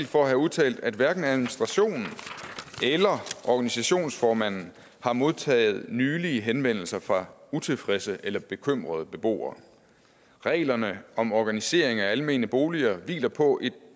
for at have udtalt at hverken administrationen eller organisationsformanden har modtaget nylige henvendelser fra utilfredse eller bekymrede beboere reglerne om organisering af almene boliger hviler på